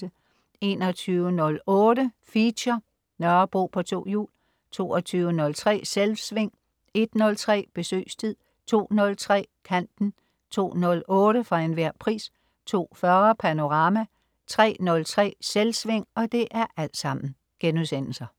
21.08 Feature: Nørrebro på to hjul* 22.03 Selvsving* 01.03 Besøgstid* 02.03 Kanten* 02.08 For enhver pris* 02.40 Panorama* 03.03 Selvsving*